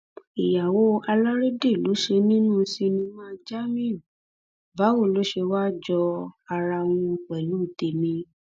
ìyàwó alárédè ló ṣe nínú sinimá jamiu báwo ló ṣe wáá jó ara wọn pẹlú tẹmí